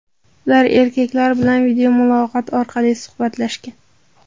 Ular erkaklar bilan videomuloqot orqali suhbatlashgan.